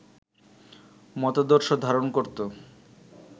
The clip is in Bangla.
মতাদর্শ ধারণ করত